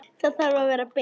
Það þarf að vera beint.